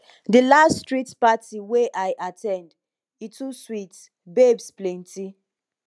di last street party wey i at ten d e too sweet babes plenty